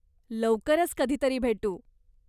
लवकरच कधीतरी भेटू.